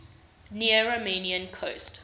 near romanian coast